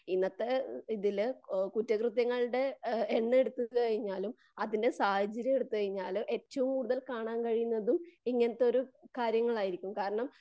ഇന്നത്തെ ഇതില് കുറ്റകൃത്യങ്ങളുടെ എണ്ണം എടുത്തു കഴിഞ്ഞാലും അതിന്റെ സാഹചര്യം എടുത്തു കഴിഞ്ഞാല് ഏറ്റവും കൂടുതൽ കാണാൻ കഴിയുന്നതും ഇങ്ങനത്തെ ഒരു കാര്യങ്ങളായിരിക്കും.കാരണം